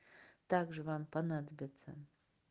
также вам понадобятся